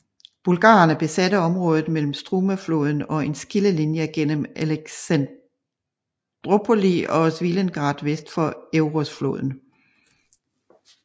Bulgarerne besatte området mellem Strumafloden og en skillelinje gennem Alexandroupoli og Svilengrad vest for Evrosfloden